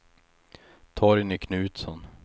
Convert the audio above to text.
Torgny Knutsson